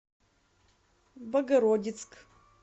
богородицк